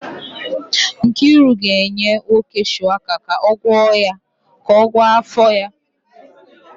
Nkiru ga-enye Nwoye shuwaka ka ọ gwọọ afọ ya